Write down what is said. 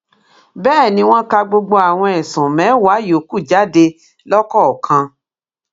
bẹẹ ni wọn ka gbogbo àwọn ẹsùn mẹwàá yòókù jáde lọkọọkan